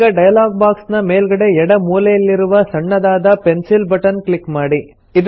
ಈಗ dialog box ನ ಮೇಲ್ಗಡೆ ಎಡ ಮೂಲೆಯಲ್ಲಿರುವ ಸಣ್ಣದಾದ ಪೆನ್ಸಿಲ್ ಬಟನ್ ಕ್ಲಿಕ್ ಮಾಡಿ